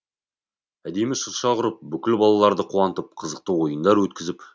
әдемі шырша құрып бүкіл балаларды қуантып қызықты ойындар өткізіп